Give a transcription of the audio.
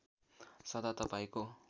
सदा तपाईँको